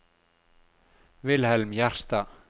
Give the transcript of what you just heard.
Wilhelm Gjerstad